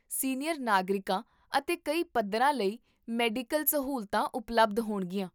senior ਨਾਗਰਿਕਾਂ ਅਤੇ ਕਈ ਪੱਧਰਾਂ ਲਈ ਮੈਡੀਕਲ ਸਹੂਲਤਾਂ ਉਪਲਬਧ ਹੋਣਗੀਆਂ